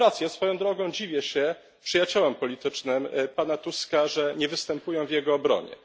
Swoją drogą dziwię się przyjaciołom politycznym pana Tuska, że nie występują w jego obronie.